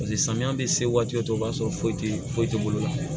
paseke samiya be se waati dɔ o b'a sɔrɔ foyi te foyi te bolo